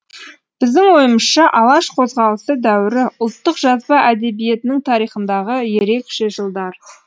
біздің ойымызша алаш қозғалысы дәуірі ұлттық жазба әдебиетінің тарихындағы ерекше жылдар